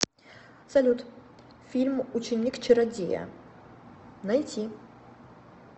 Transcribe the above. салют фильм ученик чародея найти